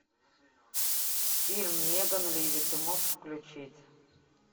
фильм меган ливи ты можешь включить